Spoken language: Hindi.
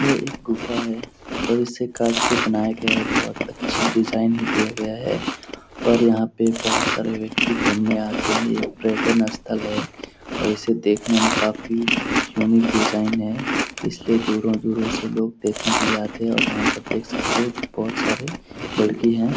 यह एक गुफ़ा है और इसे काट के बनाया गया है बहुत अच्छी डिज़ाइन ही दिया गया है और यहाँ पे बहुत सारे व्यक्ति घूमने आते हैं ये पर्यटन स्थल है और इसे देखने में काफ़ी यूनिक डिज़ाइन है इसलिये दूरों दूरों से लोग देखने के लिए आते हैं और यहां पर देख सकते हैं बहुत सारे लड़की हैं।